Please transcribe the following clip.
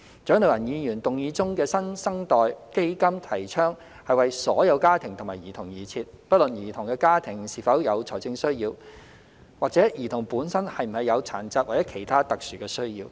蔣麗芸議員議案中的"新生代基金"提倡為所有家庭及兒童而設，不論兒童的家庭是否有財政需要，或者兒童本身是否有殘疾或其他特殊需要。